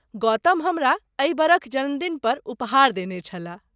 गौतम हमरा एहि बरख जन्मदिन पर उपहार देने छलाह।